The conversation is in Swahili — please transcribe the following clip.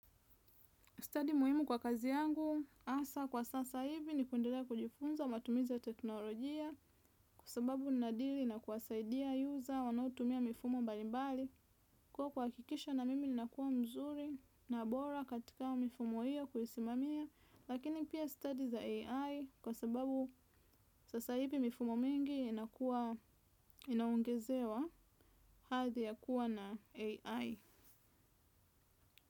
Study muhimu kwa kazi yangu, asa kwa sasa hivi ni kuendelea kujifunza matumizi ya teknolojia kwa sababu ninadiri na kuwasaidia user wanaotumia mifumo mbalimbali. Kuwa kuha kikisha na mimi ni nakuwa mzuri na bora katika mifumo iyo kuisimamia, lakini pia study za AI kwa sababu sasa hivi mifumo mingi inakuwa inaongezewa hathi ya kuwa na AI.